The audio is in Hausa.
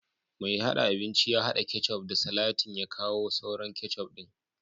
mai dafa abinci ya hada ketchup da salatin ya kawo sauran ketchup din